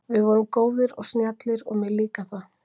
Við vorum góðir og snjallir og mér líkar það.